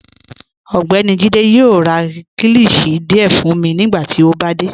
Ọgbẹ́ni Jíde yoo rá kílíshì díẹ̀ fun mi nigbàtí ó bá dé.